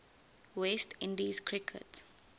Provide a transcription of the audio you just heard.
west indies cricket